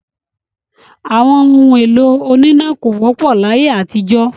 Àwọn ohun-èlò oníná kò wọ́pọ̀ láyé àtijọ́.